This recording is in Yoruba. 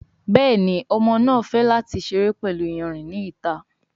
Béèni Ọmọ náa fè láti seré pẹlú iyanrìn ní ìta.